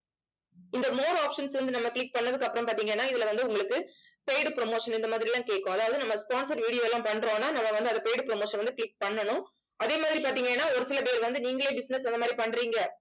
இந்த more options வந்து நம்ம click பண்ணதுக்கு அப்புறம் பாத்தீங்கன்னா இதுல வந்து, உங்களுக்கு paid promotion இந்த மாதிரி எல்லாம் கேக்கும். அதாவது நம்ம sponsor video எல்லாம் பண்றோம்ன்னா நம்ம வந்து அந்த paid promotion வந்து click பண்ணணும். அதே மாதிரி பாத்தீங்கன்னா ஒரு சில பேர் வந்து நீங்களே business அந்த மாதிரி பண்றீங்க.